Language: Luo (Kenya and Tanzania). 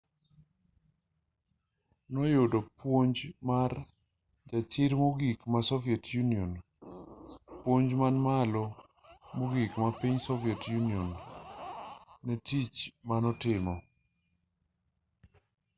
noyudo puoch mar jachir mogik ma soviet union puoch man malo mogik marpiny soviet union netich manotimo